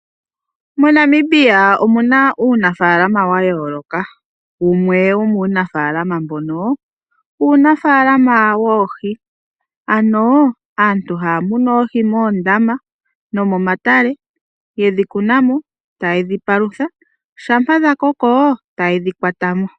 Monamibia omuna uunafaalama wa yooloka. Wumwe wo muunafaalama mbono uunafaalama wooshi ,ano aantu ha ya munu oohi moondama no mo matale ye dhi kunamo ta ye dhi palutha shampa dha koko ta ye dhi kwatamo.